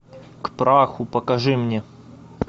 к праху покажи мне